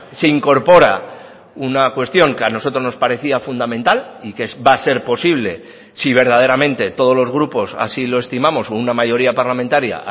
se incorpora una cuestión que a nosotros nos parecía fundamental y que va a ser posible si verdaderamente todos los grupos así lo estimamos o una mayoría parlamentaria